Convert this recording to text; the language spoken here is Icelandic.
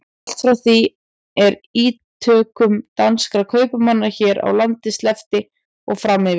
Allt frá því er ítökum danskra kaupmanna hér á landi sleppti og fram yfir